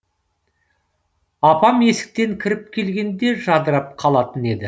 апам есіктен кіріп келгенде жадырап қалатын еді